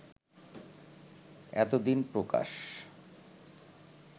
এতদিন প্রকাশ